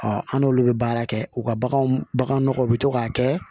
an n'olu bɛ baara kɛ u ka baganw baganw nɔgɔw bɛ to k'a kɛ